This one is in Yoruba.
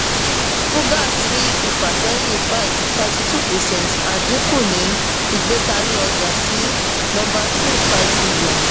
fugaz rí ìfàsẹ́yìn five thirty-two percent adínkù ní ìgbékari ọjà sì number two, five billion